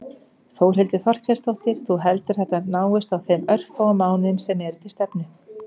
Þórhildur Þorkelsdóttir: Þú heldur að þetta náist á þeim örfáu mánuðum sem eru til stefnu?